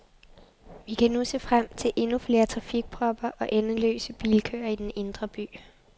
Vi kan nu se frem til endnu flere trafikpropper og endeløse bilkøer i den indre by.